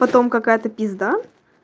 потом какая-то пизда